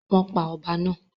Wọ́n pa ọba náà?